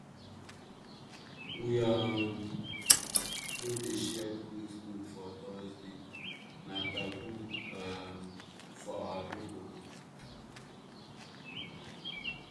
we um no dey dey share goat milk for thursday — na taboo um for our people.